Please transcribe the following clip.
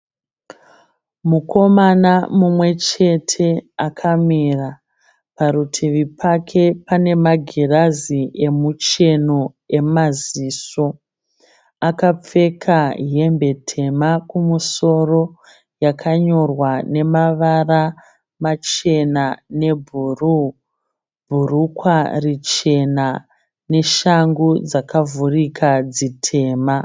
Mukomana mumwechete akamira, parutivi pake panemagirazi emuchemo emaziso. Akapfeka hembe tema kumusoro yakanyorwa nemavara machena nebhuruu, bhurukwa richena neshangu dzakavhurika dzitema.